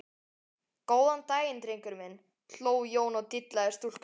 Góðan daginn drengur minn, hló Jón og dillaði stúlkunni.